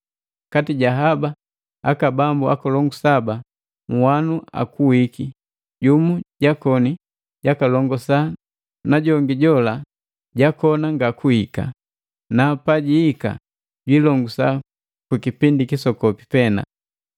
Kati ja haba aka bambu akolongu saba, nhwanu akuwiki, jumu jakoni jakalongosa na jongi jola jakona ngakuhika na pajihika jwiilongusa ku kipindi kisokopi pena.